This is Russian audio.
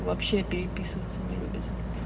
вообще переписываться не любят